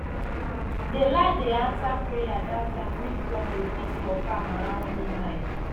the land dey answer prayer that time when drum dey beat for farm around midnight